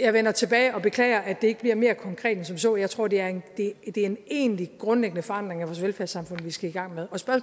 jeg vender tilbage og beklager at det ikke bliver mere konkret end som så jeg tror det er en egentlig grundlæggende forandring af vores velfærdssamfund vi skal i gang med